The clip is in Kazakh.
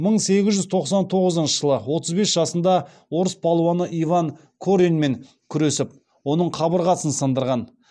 мың сегіз жүз тоқсан тоғызыншы жылы отыз бес жасында орыс палуаны иван кореньмен күресіп оның қабырғасын сындырған